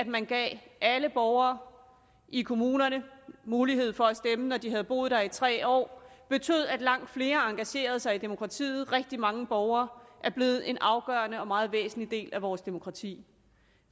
man gav alle borgere i kommunerne mulighed for at stemme når de havde boet der i tre år for betød at langt flere engagerede sig i demokratiet rigtig mange borgere er blevet en afgørende og meget væsentlig del af vores demokrati